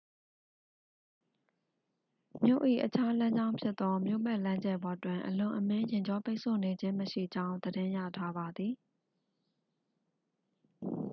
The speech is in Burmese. မြို့၏အခြားလမ်းကြောင်းဖြစ်သော မြို့ပတ်လမ်းကျယ်ပေါ်တွင် အလွန်အမင်းယာဉ်ကြောပိတ်ဆို့နေခြင်းမရှိကြောင်း သတင်းရထားပါသည်